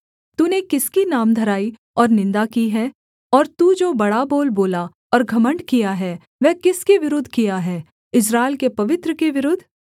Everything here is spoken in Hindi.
तूने किसकी नामधराई और निन्दा की है और तू जो बड़ा बोल बोला और घमण्ड किया है वह किसके विरुद्ध किया है इस्राएल के पवित्र के विरुद्ध